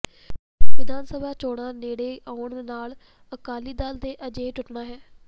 ਵਿਧਾਨ ਸਭਾ ਚੋਣਾਂ ਨੇਡ਼ੇ ਆਉਣ ਨਾਲ ਅਕਾਲੀ ਦਲ ਨੇ ਅਜੇ ਟੁੱਟਣਾ ਹੈ